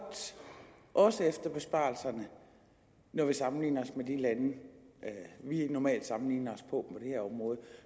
også efter besparelserne når vi sammenligner os med de lande vi normalt sammenligner os med på det her område